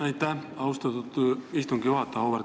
Aitäh, austatud istungi juhataja!